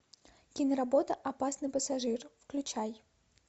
киноработа опасный пассажир включай